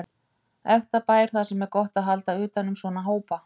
Ekta bær þar sem er gott að halda utan um svona hópa.